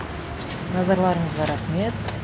назарларыңызға рахмет